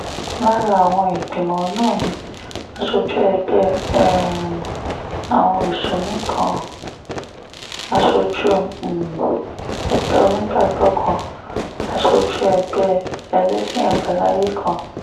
lára àwọn ìgbìmọ̀ náà ni aṣojú ẹgbẹ́ um àwọn mùsùlùmí kan aṣojú um ẹgbẹ́ onígbàgbọ́ kan aṣojú ẹgbẹ́ ẹlẹ́sìn àbáláyé kan